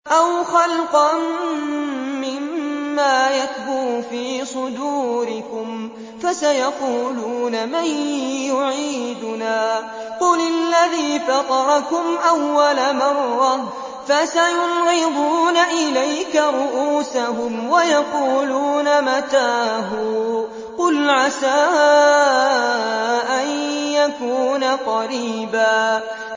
أَوْ خَلْقًا مِّمَّا يَكْبُرُ فِي صُدُورِكُمْ ۚ فَسَيَقُولُونَ مَن يُعِيدُنَا ۖ قُلِ الَّذِي فَطَرَكُمْ أَوَّلَ مَرَّةٍ ۚ فَسَيُنْغِضُونَ إِلَيْكَ رُءُوسَهُمْ وَيَقُولُونَ مَتَىٰ هُوَ ۖ قُلْ عَسَىٰ أَن يَكُونَ قَرِيبًا